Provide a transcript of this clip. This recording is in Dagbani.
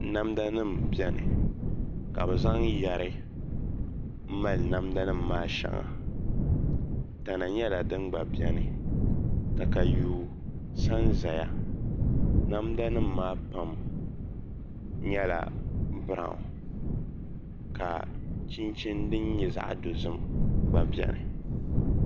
Namda nim biɛni ka bi zaŋ yɛri n mali namda nim maa shɛŋa tana nyɛla din gba biɛni katayuu sa n ʒɛya namda nim maa pam nyɛla biraawn ka chinchin din nyɛ zaɣ dozim gba biɛni